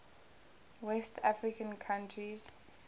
west african countries